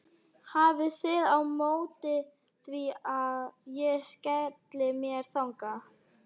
Hafið þið á móti því að ég skelli mér þangað?